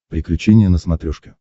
приключения на смотрешке